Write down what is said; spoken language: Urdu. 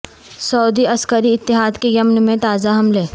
سعودی عسکری اتحاد کے یمن میں تازہ حملے